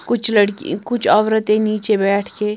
कुछ लड़की कुछ औरतें नीचे बैठ के--